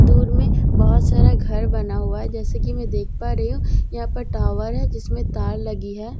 दूर में बहुत सारा घर बना हुआ है जैसे कि‍ मैं देख पा रही हूं यहां पर टावर है जिसमें तार लगी है।